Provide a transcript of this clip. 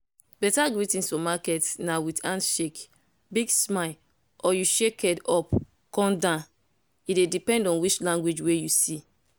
better greetings for market na with handshake big smile or you shake head up come down. e dey depend on which language wey you see.